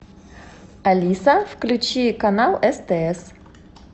алиса включи канал стс